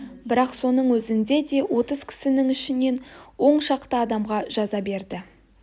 бірақ соның өзінде де отыз кісінің ішінен он шақты адамға жаза берді